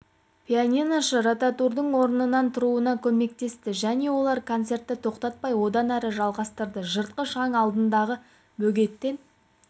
пианиношы ротарудың орнынан тұруына көмектесті және олар концерті тоқтатпай одан әрі жалғастырды жыртқыш аң алдындағы бөгеттен